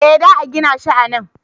Eh za a gina shi a nan